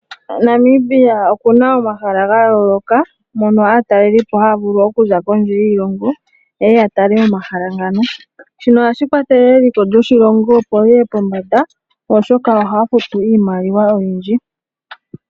Namibia oku na omahala ga yooloka mono aatalelipo haya vulu okuza kondje yoshilongo ye ye ya tale omahala. Ohashi kwathele eliko lyoshilongo opo li ye pombanda, oshoka ohaya futu iimaliwa oyindji.